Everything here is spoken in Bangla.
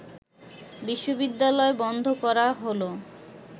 বিশ্ববিদ্যালয় বন্ধ করা হল